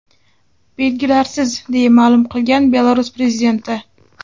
Belgilarsiz”, deya ma’lum qilgan Belarus prezidenti.